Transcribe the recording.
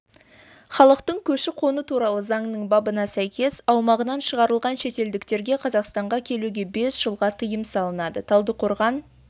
халықтың көші-қоны туралы заңның бабына сәйкес аумағынан шығарылған шетелдіктерге қазақстанға келуге бес жылға тыйым салынады талдықорған